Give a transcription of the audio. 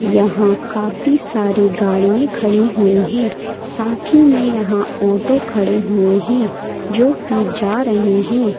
यहां काफी सारी गाड़िये खड़ी हुई हैं साथ ही में यहां ऑटो खड़े हुए हैं जो कि जा रहे हैं।